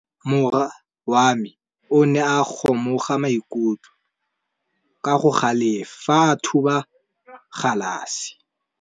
Morwa wa me o ne a kgomoga maikutlo ka go galefa fa a thuba galase.